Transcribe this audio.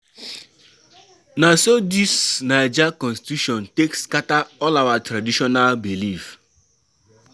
Na so dis naija constitution take scatter all our traditional belief.